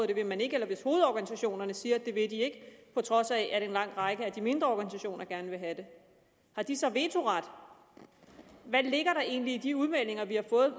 det vil man ikke eller hvis hovedorganisationerne siger at det vil de ikke på trods af at en lang række af de mindre organisationer gerne vil have det har de så vetoret hvad ligger der egentlig i de udmeldinger vi har fået